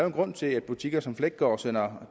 en grund til at butikker som fleggaard sender